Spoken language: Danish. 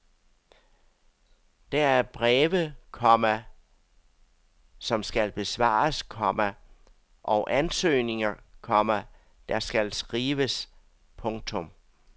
Der er breve, komma som skal besvares, komma og ansøgninger, komma der skal skrives. punktum